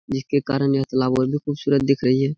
जिसके कारन ये खुबसूरत दिख रही है।